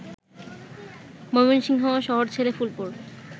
ময়মনসিংহ শহর ছেড়ে ফুলপুর